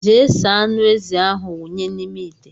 Jee saa aṅụ ezi ahụ wunye n' ime ite!!!!